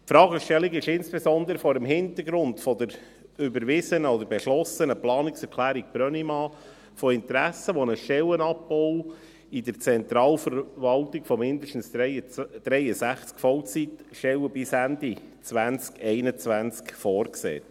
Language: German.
– Diese Fragestellung ist insbesondere vor dem Hintergrund der beschlossenen Planungserklärung Brönnimann von Interesse, welche einen Stellenabbau in der Zentralverwaltung von mindestens 63 Vollzeitstellen bis Ende 2021 vorsieht.